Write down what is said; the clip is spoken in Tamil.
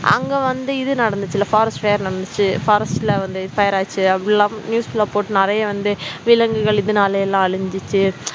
அங்க வந்து இது நடந்துச்சு இல்ல forest fire நடந்துச்சு forest ல வந்து fire ஆச்சு அப்படி எல்லாம் news ல போட்டு நிறைய வந்து விலங்குகள் இதனாலே எல்லாம அழிஞ்சுச்சு